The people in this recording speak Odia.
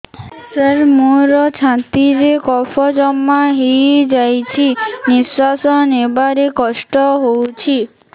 ସାର ମୋର ଛାତି ରେ କଫ ଜମା ହେଇଯାଇଛି ନିଶ୍ୱାସ ନେବାରେ କଷ୍ଟ ହଉଛି